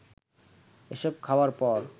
এসব খাওয়ার পর